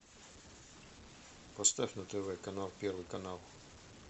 поставь на тв канал первый канал